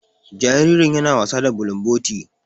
Jaririn ya na wasa da bulumboti.